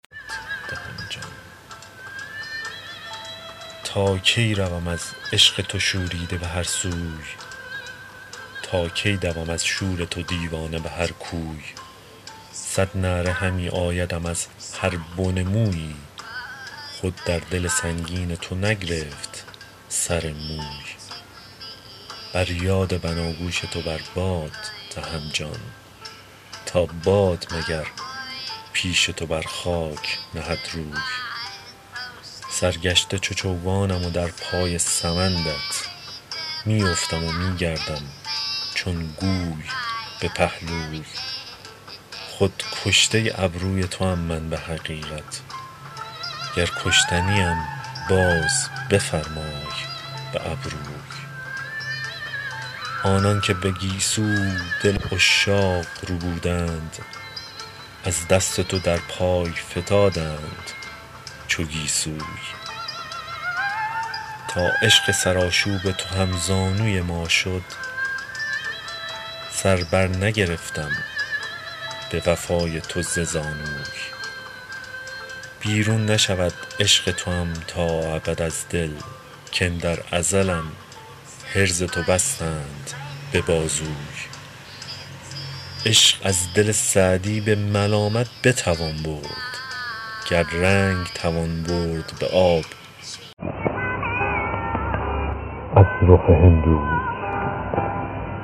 تا کی روم از عشق تو شوریده به هر سوی تا کی دوم از شور تو دیوانه به هر کوی صد نعره همی آیدم از هر بن مویی خود در دل سنگین تو نگرفت سر موی بر یاد بناگوش تو بر باد دهم جان تا باد مگر پیش تو بر خاک نهد روی سرگشته چو چوگانم و در پای سمندت می افتم و می گردم چون گوی به پهلوی خود کشته ابروی توام من به حقیقت گر کشته نیم باز بفرمای به ابروی آنان که به گیسو دل عشاق ربودند از دست تو در پای فتادند چو گیسوی تا عشق سرآشوب تو هم زانوی ما شد سر بر نگرفتم به وفای تو ز زانوی بیرون نشود عشق توام تا ابد از دل کاندر ازلم حرز تو بستند به بازوی عشق از دل سعدی به ملامت بتوان برد گر رنگ توان برد به آب از رخ هندوی